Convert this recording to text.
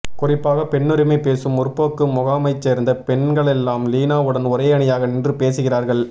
குறிப்பாக பெண்ணுரிமை பேசும் முற்போக்குமுகாமைச்சேர்ந்த பெண்களெல்லாம் லீனாவுடன் ஒரே அணியாக நின்று பேசுகிறார்கள்